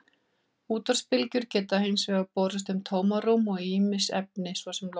Útvarpsbylgjur geta hins vegar borist um tómarúm og ýmis efni, svo sem loft.